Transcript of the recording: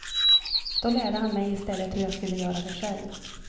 Då lärde han mig i stället hur jag skulle göra det själv.